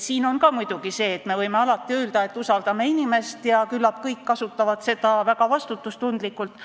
Me võime alati öelda, et usaldame inimest ja küllap kõik kasutavad seda väga vastutustundlikult.